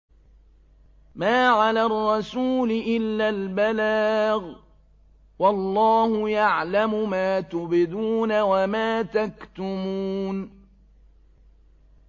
مَّا عَلَى الرَّسُولِ إِلَّا الْبَلَاغُ ۗ وَاللَّهُ يَعْلَمُ مَا تُبْدُونَ وَمَا تَكْتُمُونَ